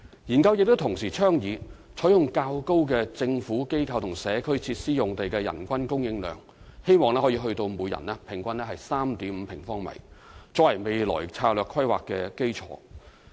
研究亦同時倡議採用較高的"政府、機構或社區設施"用地的人均供應量，希望可以達到每人平均 3.5 平方米，作為未來策略規劃的基礎。